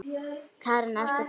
Karen: Ertu glaður?